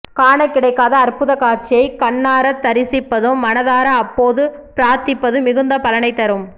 காணக் கிடைக்காத அற்புதக் காட்சியைக் கண்ணாரத் தரிசிப்பதும் மனதார அப்போது பிரார்த்திப்பதும் மிகுந்த பலனைத் தரும்